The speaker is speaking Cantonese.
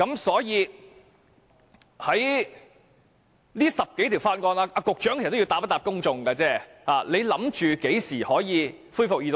所以，局長要回答公眾，他預計這10多項法案何時可以恢復二讀呢？